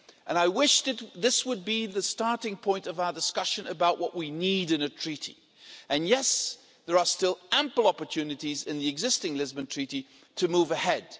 I wish that could be the starting point of our discussion about what we need in a treaty. There are still ample opportunities in the existing Lisbon Treaty to move ahead.